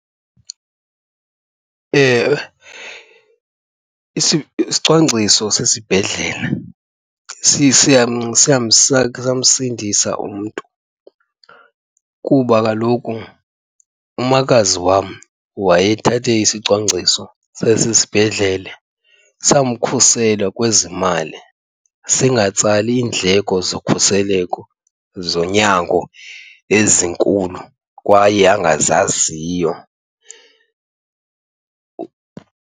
Ewe, isicwangciso sesibhedlele siyamsindisa umntu kuba kaloku umakazi wam wayethathe isicwangciso sasesibhedlele samkhuseli kwezimali singatsali ndleko zokhuseleko zonyango ezinkulu kwaye angazaziyo.